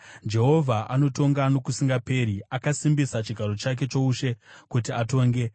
Jehovha anotonga nokusingaperi; akasimbisa chigaro chake choushe kuti atonge.